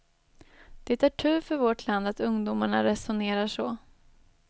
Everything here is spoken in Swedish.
Det är tur för vårt land att ungdomarna resonerar så.